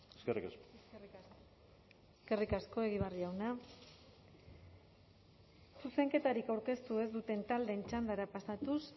eskerrik asko eskerrik asko egibar jauna zuzenketarik aurkeztu ez duten taldeen txandara pasatuz